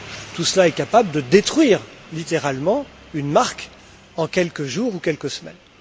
Tout cela est capable de détruire littéralement une marque en quelques jours ou quelques semaines.